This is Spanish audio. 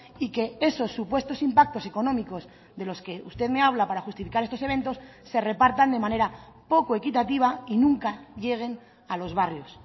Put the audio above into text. y que esos supuestos impactos económicos de los que usted me habla para justificar estos eventos se repartan de manera poco equitativa y nunca lleguen a los barrios